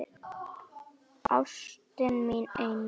Ástin mín eina.